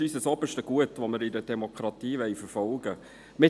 Dies ist unser oberstes Gut, das wir in einer Demokratie verfolgen wollen.